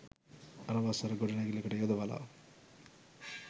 අනවසර ගොඩනැගිල්ලට යොදවලා